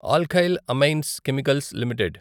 alkyl amines chemicals limited